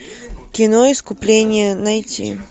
кино искупление найти